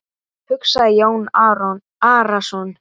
hugsaði Jón Arason.